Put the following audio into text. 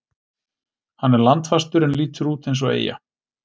Hann er landfastur en lítur út eins og eyja.